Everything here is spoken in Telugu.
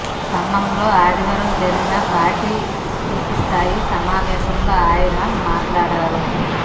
ఖమ్మంలో ఆదివారం జరిగిన పార్టీ విస్తృత స్థాయి సమావేశంలో ఆయన మాట్లాడారు